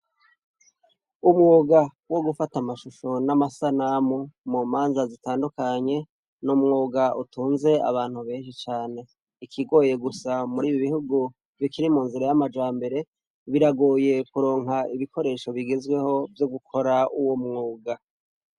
Umwuga wo gufata amashusho n'amasanamu mu manza zitandukanye n'umwuga utunze abantu benshi cane ikigoye gusa muribi bihugu bikiri munzira yamajambere biragoye kuronka ibikoresho bigezweho vyo gukora uwo mwuga.